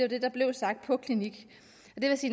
det der blev sagt på klinik